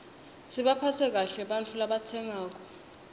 sibaphatse kahle ebantfu labatsengako